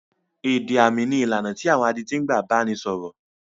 Èdè àmì ní ìlànà tí àwọn adití ń gbà bá ni sọ̀rọ̀.